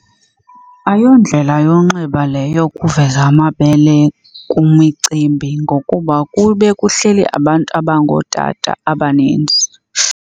Ayondlela yonxiba leyo ukuveza amabele kwimicimbi ngokuba kube kuhleli abantu abangootata abaninzi.